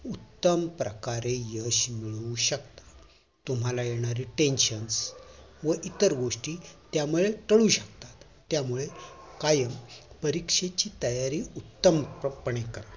उत्तम प्रकारे यश मिळवू शकता तुम्हाला येणारे tension व इतर गोष्टी त्यामुळे त्यामुळे कायम परीक्षेची तयारी उत्तम